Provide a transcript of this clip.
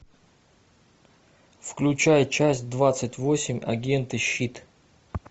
включай часть двадцать восемь агенты щит